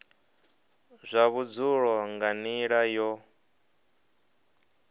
zwa vhudzulo nga nila yo